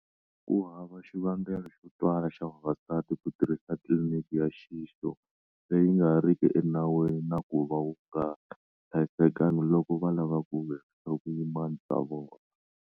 Ku hava xivangelo xo twala xa vavasati ku tirhisa tliliniki ya nxixo leyi nga riki enawini na ku va wu nga hlayisekangi loko va lava ku herisa vuyimana bya vona.